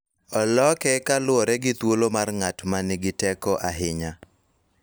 Oloke kaluwore gi thuolo mar ng�at ma nigi teko ahinya.